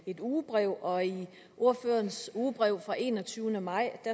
et ugebrev og i ordførerens ugebrev fra enogtyvende maj